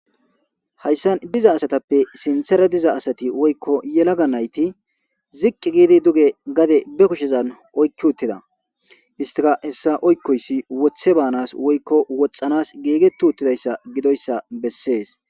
hayssan diza asatappe sinthera diza asati woykko yelaga nayti ziqqi giidi duge gade be kushezan oykki uttida istika hessa oykkoyssi wothe baanas woykko woxxanas geegetu uttidayssa gidoyssa bessees